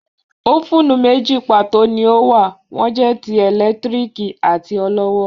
Ófùnù méjì pàtó ni ó wà, wón jẹ́ ti ẹ̀lẹ́tíríkì àti olọ́wọ́